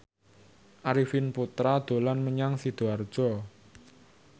Arifin Putra dolan menyang Sidoarjo